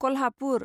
Kolhapur